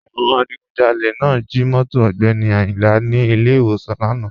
Àwọn adìgùnjálẹ̀ náà jí móto Ogbeni Ayinla ní ilẹ̀ iwọ̀san lána.